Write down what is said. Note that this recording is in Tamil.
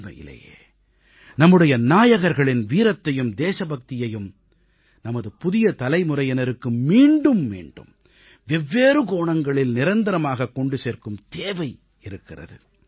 உண்மையிலேயே நம்முடைய நாயகர்களின் வீரத்தையும் தேசபக்தியையும் நமது புதிய தலைமுறையினருக்கு மீண்டும் மீண்டும் வெவ்வேறு கோணங்களில் நிரந்தரமாகக் கொண்டு சேர்க்கும் தேவை இருக்கிறது